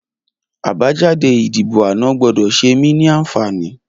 Abàjàdé idibó àná gbọdọ ṣémí ni ànfání